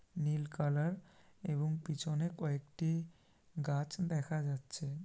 নীল colour এবং পিছনে কয়েকটি গাছ দেখা যাচ্ছে।